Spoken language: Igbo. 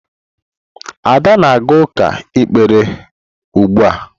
Ada na-aga uka ikpe ekpere ugbua.